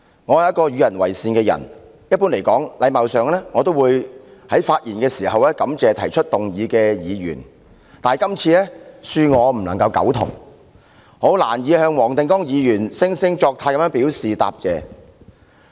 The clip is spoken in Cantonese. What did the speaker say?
我是一個與人為善的人，一般而言，基於禮貌，我都會在發言時感謝提出議案的議員，但對於今天這項議案，恕我不敢苟同，因此難以向黃定光議員的惺惺作態表示答謝。